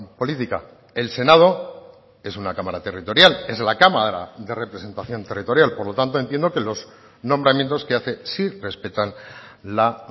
política el senado es una cámara territorial es la cámara de representación territorial por lo tanto entiendo que los nombramientos que hace sí respetan la